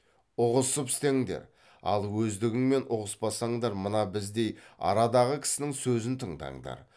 ұғысып істеңдер ал өздігіңмен ұғыспасаңдар мына біздей арадағы кісінің сөзін тыңдаңдар